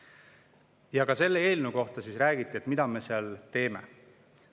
Ja ka selle eelnõu kohta räägiti, mida me seal teeme.